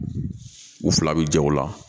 U fila bɛ ja o la